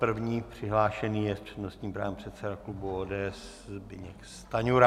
První přihlášený je s přednostním právem předseda klubu ODS Zbyněk Stanjura.